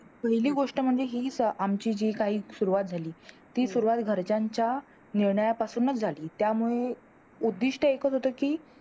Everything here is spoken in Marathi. पहिली गोष्ट म्हणजे ही आमची जी काही सुरुवात झाली ती सुरुवात घरच्यांच्या मिळण्यापासुंनच झाली त्यामुळे उद्धिष्ट एक होता कि